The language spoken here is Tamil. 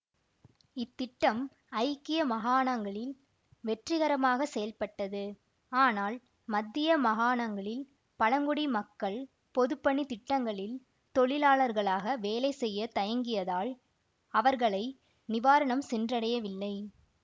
இத்திட்டம் ஐக்கிய மகாணங்களில் வெற்றிகரமாகச் செயல்பட்டது ஆனால் மத்திய மகாணங்களில் பழங்குடி மக்கள் பொதுப்பணித் திட்டங்களில் தொழிலாளர்களாக வேலை செய்ய தயங்கியதால் அவர்களை நிவாரணம் சென்றடையவில்லை